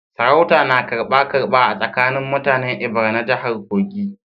Sarautar na karba-karba a tsakanin mutanen Ebira na jihar Kogi